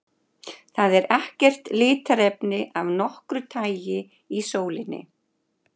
Það er ekkert litarefni af nokkru tagi í sólinni.